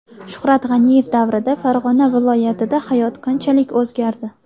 Shuhrat G‘aniyev davrida Farg‘ona viloyatida hayot qanchalik o‘zgardi?